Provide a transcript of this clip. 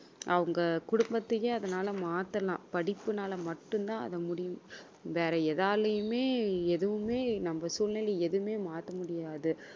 அவங்க குடும்பத்தையே அதனால மாத்தலாம் படிப்பினால மட்டும்தான் அது முடியும் வேற எதாலயுமே எதுவுமே நம்ம சூழ்நிலையை எதுவுமே மாத்த முடியாது